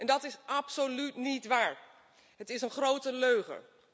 En dat is absoluut niet waar. Het is een grote leugen.